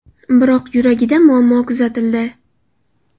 Biroq yuragida muammo kuzatildi.